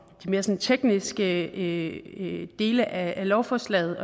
mere tekniske dele af lovforslaget